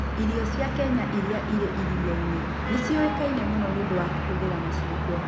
Irio cia Kenya iria irĩ iria-inĩ nĩ ciĩkaine mũno nĩ ũndũ wa kũhũthĩra macungwa.